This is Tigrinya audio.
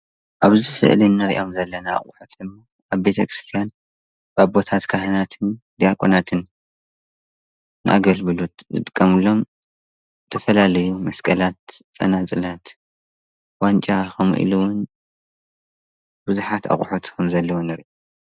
አብዚ ስእሊ እንሪኦም ዘለና አቑሑት አብ ቤተ ክርስትያን አቦታት ካህናትን ድያቆናትን ንአጋይሽ መቐበሊ ዝጥቀምሎም ዝተፈላለዩ መስቀላት፣ ፀናፅላት፣ ዋንጫ ከምኡ ኢሉውን ብዙሓት አቑሑት ከምዘለው ንሪኢ፡፡